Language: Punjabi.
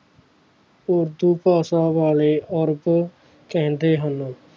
ਉਰਦੂ ਭਾਸ਼ਾ ਵਾਲੇ ਅਰਬ ਚੰਗੇ ਹਨ